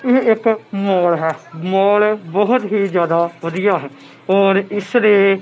ਇਹ ਇੱਕ ਮੌਲ ਹੈ ਮੌਲ ਬਹੁਤ ਹੀ ਜਿਆਦਾ ਵਧੀਆ ਹੈ ਔਰ ਇੱਸ ਦੇ--